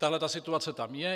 Tato situace tam je.